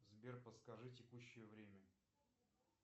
сбер подскажи текущее время